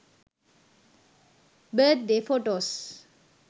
birthday photos